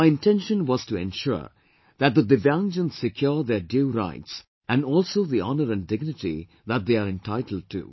My intention was to ensure that the Divyangjan secure their due rights and also the honour and dignity that they are entitled to